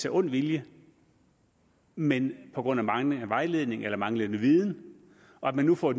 af ond vilje men på grund af manglende vejledning eller manglende viden og at man nu får